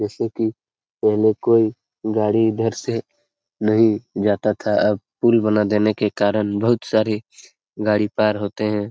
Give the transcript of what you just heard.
जैसे की पहले कोई गाड़ी इधर से नही जाता था अब पुल बना देने के कारण बहुत सारे गाड़ी पार होते हैं।